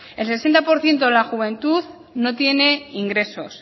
el sesenta por ciento de la juventud no tiene ingresos